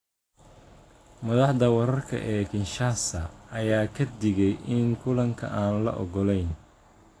Madaxda wararka ee Kinshasa, ayaa ka digay in kulanka aan la ogolayn.